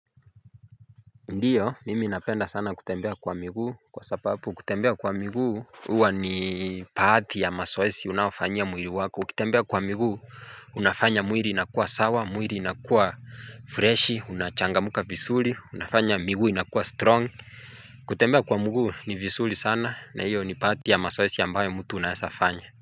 Ndiyo mimi napenda sana kutembea kwa miguu kwa sababu kutembea kwa miguu huwa ni baadhi ya mazoezi unaoifanyia mwili wako ukitembea kwa miguu Unafanya mwili inakuwa sawa mwili inakuwa freshi unachangamka vizuri unafanya miguu inakuwa strong kutembea kwa mguu ni vizuri sana na hiyo ni baadhi ya mazoezi ambayo mtu unaweza fanya.